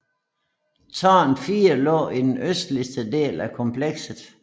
Tårn 4 lå i den sydøstlige del af komplekset